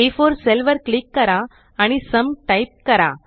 आ4 cell वर click करा आणि सुम टाइप करा